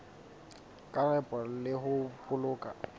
ka nepo le ho boloka